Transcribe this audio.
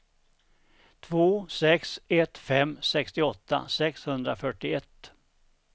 två sex ett fem sextioåtta sexhundrafyrtioett